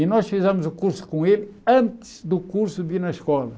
E nós fizemos o curso com ele antes do curso vir na escola.